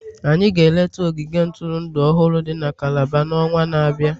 anyị ga-eleta ogige ntụrụndụ ọhụrụ dị na Calabar n'ọnwa na-abịa.